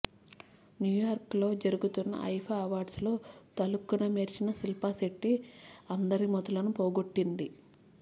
New York లో జరుగుతున్న IIFA awards లో తళుక్కున మెరిసిన శిల్పా శెట్టి అందరి మతులను పోగొట్టింది